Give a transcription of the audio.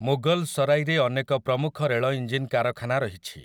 ମୁଗଲ୍‌ସରାଇରେ ଅନେକ ପ୍ରମୁଖ ରେଳଇଞ୍ଜିନ୍ କାରଖାନା ରହିଛି ।